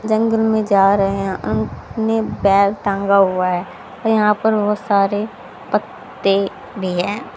जंगल में जा रहे हैं अंक ने बैग टांगा हुआ है यहां पर बहोत सारे पत्ते भी हैं।